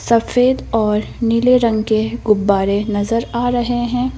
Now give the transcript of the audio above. सफेद और नीले रंग के गुब्बारे नजर आ रहे हैं।